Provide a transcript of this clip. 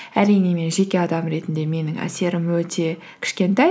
әрине мен жеке адам ретінде менің әсерім өте кішкентай